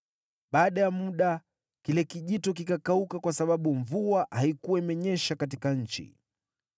Baada ya muda, kile kijito kikakauka kwa sababu mvua haikuwa imenyesha katika nchi.